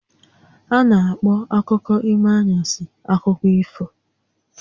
A na-akpọ akụkọ ime anwansi akụkọ ifo